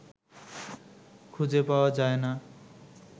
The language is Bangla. খুঁজে পাওয়া যায় না